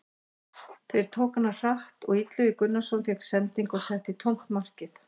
Þeir tóku hana hratt og Illugi Gunnarsson fékk sendingu og setti í tómt markið.